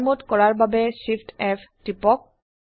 fly mode কৰাৰ বাবে Shift F টিপক